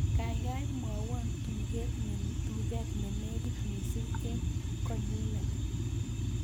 Gaigai mwawan tuget nenegit mising en konyunet